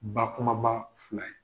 Bakumaba fila ye.